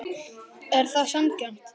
Er það sanngjarnt?